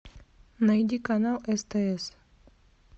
найди канал стс